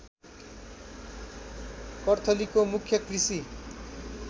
कर्थलीको मुख्य कृषि